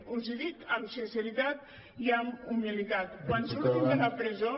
els ho dic amb sinceritat i amb humilitat quan surtin de la presó